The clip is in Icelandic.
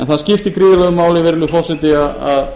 en það skiptir gríðarlegu máli virðulegi forseti að